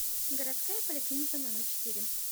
городская поликлиника номер четыре